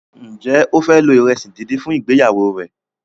Njé o fẹ lo iresi dín dín fún ìgbéyàwó rẹ?